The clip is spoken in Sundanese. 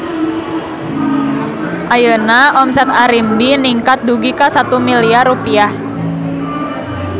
Ayeuna omset Arimbi ningkat dugi ka 1 miliar rupiah